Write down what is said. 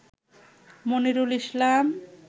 Monirul Islam